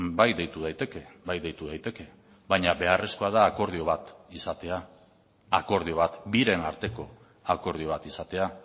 bai deitu daiteke bai deitu daiteke baina beharrezkoa da akordio bat izatea akordio bat biren arteko akordio bat izatea